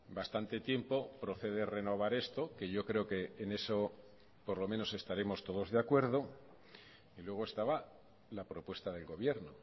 bastante tiempo procede renovar esto que yo creo que en eso por lo menos estaremos todos de acuerdo y luego estaba la propuesta del gobierno